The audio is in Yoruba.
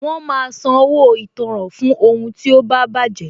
Wọn máa san owó ìtanràn fún ohun tí ó bá baje